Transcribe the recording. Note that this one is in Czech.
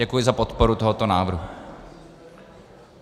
Děkuji za podporu tohoto návrhu.